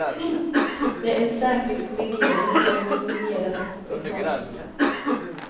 Med en särskild legering har vi minimerat läckaget.